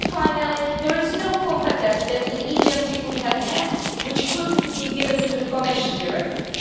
And finally, there is no competence that an agency could have which could not be given to the Commission directly.